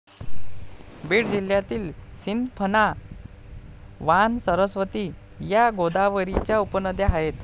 बीड जिल्ह्यातील सिंदफणा, वाण, सरस्वती, या गोदावरीच्या उपनद्या आहेत.